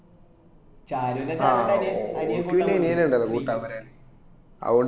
ഷാരു ൻറെ സ്ഥലത്അ നിയാ അനിയൻ കൂട്ടാന് വന്നക്ക്